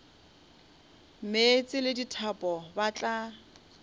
meetse le dithapo ba tla